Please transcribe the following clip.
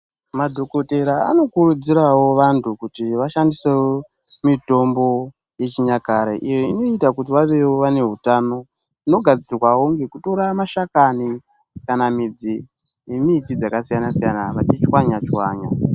Madhokotera anokurudzirawo vantu kuti vashandisewo mitombo yechinyakare iyo inoita kuti vavewo vane hutano inogadzirawo ngekutora mashakani kana midzi yemiti dzakasiyana siyana vachitswanyatswanya.